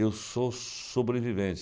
Eu sou sobrevivente.